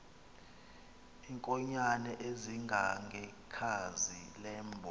iinkonyan ezingangekhazi lentomb